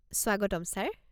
স্বাগতম ছাৰ।